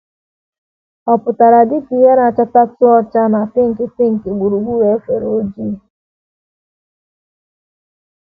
Ọ pụtara dị ka ìhè na - achatatụ ọcha na pinki pinki gburugburu efere ojii.